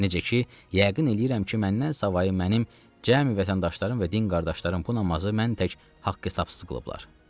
Necə ki, yəqin eləyirəm ki, məndən savayı mənim cəmi vətəndaşlarım və din qardaşlarım bu namazı mən tək haqq-hesabsız qılıblar.